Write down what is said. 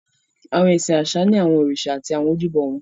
Awọn ẹsin aṣa ni awọn oriṣa ati àwọn ojúbo wọn.